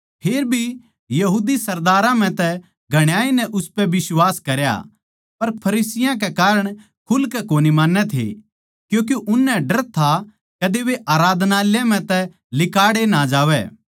फेरभी यहूदी सरदारां म्ह तै घणाए नै उसपै बिश्वास करया पर फरिसियाँ कै कारण खुलकै कोनी मान्नै थे क्यूँके उननै डर था कदे वे आराधनालय म्ह तै लिकाड़े ना जावै